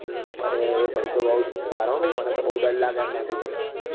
અરે ભાઈ તો બઉ જોરદાર મને તો બઉ દર લાગે એમના થી ભાઈ